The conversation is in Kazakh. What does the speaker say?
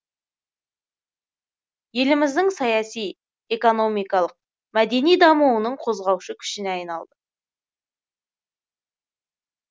еліміздің саяси экономикалық мәдени дамуының қозғаушы күшіне айналды